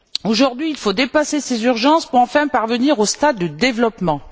Aujourd'hui, il faut dépasser ces urgences pour enfin parvenir au stade du développement.